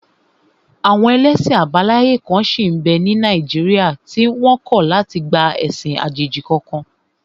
Àwọn ẹlẹ́sìn àbáláyé kan sí n bẹ́ ní Nàìjíríà tí wọ́n kọ̀ láti gba ẹ̀sìn àjèjì kankan